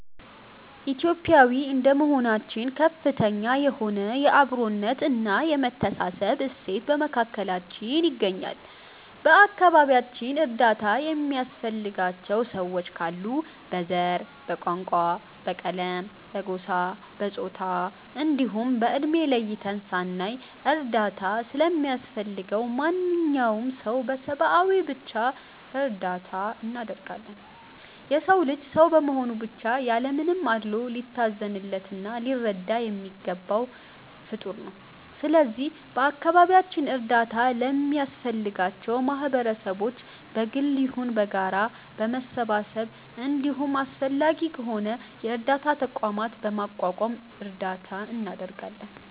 ኢትዮጲያዊ እንደመሆናችን ከፍተኛ የሆነ የ አብሮነት እና የመተሳሰብ እሴት በመካከላችን ይገኛል። በ አከባቢያችን እርዳታ የሚያስፈልጋቸው ሰዎች ካሉ በ ዘር፣ በቋንቋ፣ በቀለም፣ በጎሳ፣ በፆታ እንዲሁም በ እድሜ ለይተን ሳናይ እርዳታ ለሚያስፈልገው ማንኛውም ሰው በ ሰብዓዊነት ብቻ እርዳታ እናደርጋለን። የ ሰው ልጅ ሰው በመሆኑ ብቻ ያለ ምንም አድሎ ሊታዘንለት እና ሊረዳ የሚገባው ፍጠር ነው። ስለዚህ በ አካባቢያችን እርዳታ ለሚያስፈልጋቸው ማህበረሰቦች በ ግልም ይሁን በጋራ በመሰባሰብ እንዲሁም አስፈላጊ ከሆነ የ እርዳታ ተቋምም በማቋቋም እርዳታ እናደርጋለን።